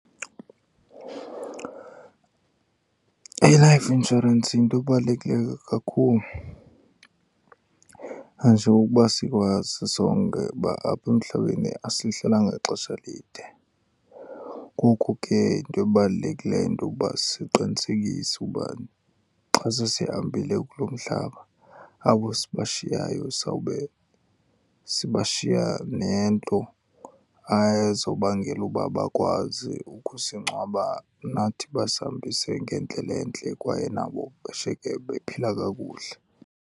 I-life insurance yinto ebalulekileyo kakhulu nanjekokuba sikwazi sonke uba apha emhlabeni asihlelanga xesha lide. Ngoku ke into ebalulekileyo yinto yokuba siqinisekise uba xa sesihambile kulo mhlaba abo sibashiyayo sawube sibashiya nento ezobangela uba bakwazi ukusingcwaba, nathi basihambise ngendlela entle kwaye nabo bashiyeke bephila kakuhle.